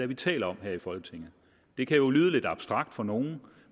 vi taler om her i folketinget det kan lyde lidt abstrakt for nogle